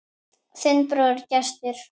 Þinn bróðir, Gestur.